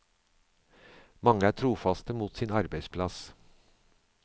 Mange er trofaste mot sin arbeidsplass.